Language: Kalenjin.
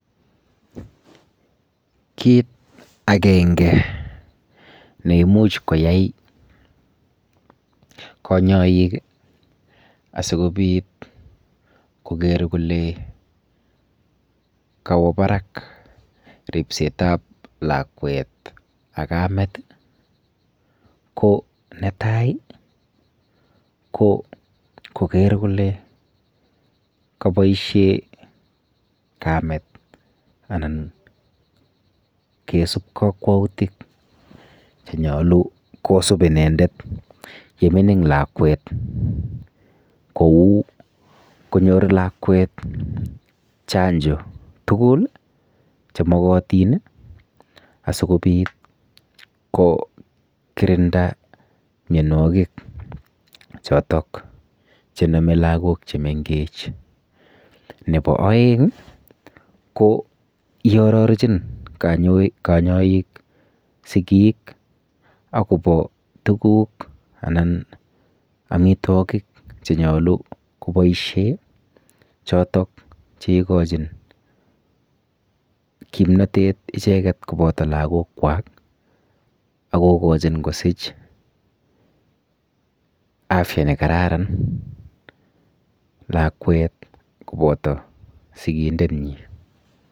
Kiit agenge ne imuch koyai konyoik asikobit kokerkole kawo barak ripset ap lakwet ak kamet ko netai ko koker kole kaboishe kamet anan kesup kakwautik chenyolu kosub inendet yemining lakwet kou konyor lakwet chanjo tugul chemogotin asikobit kokirinda mionwokik chotok chename lakok chemengech nebo oeng ko iarorchin kanyoik sikiik akobo tukuk anan amitwokik chenyolu koboisie chotok cheikochin kimnotet icheket koboto lakok kwak akokochin kosich afya nekararan lakwet koboto sikindet nyi.